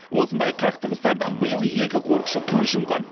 осындай қақтығыстардан биыл екі қорықшы көз жұмған